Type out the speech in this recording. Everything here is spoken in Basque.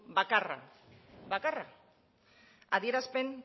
bakarra adierazpenak